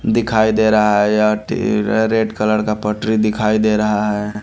दिखाई दे रहा है यह रेड कलर का पटरी दिखाई दे रहा है।